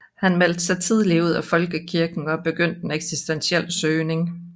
Han meldte sig tidligt ud af folkekirken og begyndte en eksistentiel søgen